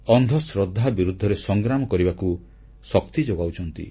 ଅନ୍ଧଶ୍ରଦ୍ଧାBlind faith ବିରୁଦ୍ଧରେ ସଂଗ୍ରାମ କରିବାକୁ ଶକ୍ତି ଯୋଗାଉଛନ୍ତି